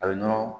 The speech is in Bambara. A bɛ nɔnɔ